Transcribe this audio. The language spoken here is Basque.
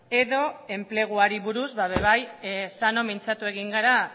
edo enpleguari buruz bai sano mintzatu egin gara